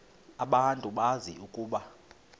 abantu bazi ukuba